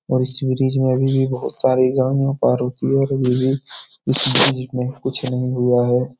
और इस ब्रिज में अभी भी बहुत सारी गाड़ियाँ पार होती है और इस ब्रिज में कुछ नहीं हुआ है ।